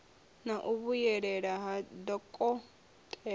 na u vhuyelela ha dokotela